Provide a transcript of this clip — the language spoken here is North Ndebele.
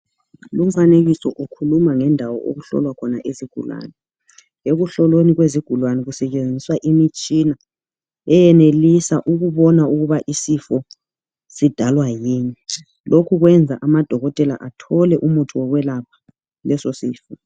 Lumfanekiso ukhuluma ngendawo okuhlolwa khona izigulani. Ekuhlolweni kwezigulani kusetshenziswa imitshina eyenelisa ukubona ukuba isifo sidalwa yini .Lokhu kwenza amadokotela athole umuthi wokwelapha leso sifo .